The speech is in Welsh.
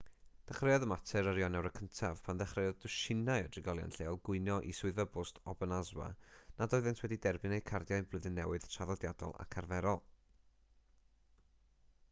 dechreuodd y mater ar ionawr 1af pan ddechreuodd dwsinau o drigolion lleol gwyno i swyddfa bost obanazwa nad oeddent wedi derbyn eu cardiau blwyddyn newydd traddodiadol ac arferol